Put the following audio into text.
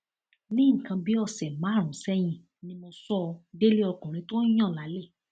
ní nǹkan bíi ọsẹ márùnún sẹyìn ni mo sọ ọ délé ọkùnrin tó ń yan lálè